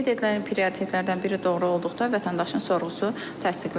Qeyd edilən prioritetlərdən biri doğru olduqda vətəndaşın sorğusu təsdiqlənir.